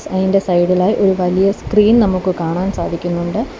അയിന്റെ സൈഡിലായി ഒരു വലിയ സ്ക്രീൻ നമുക്ക് കാണാൻ സാധിക്കുന്നുണ്ട്.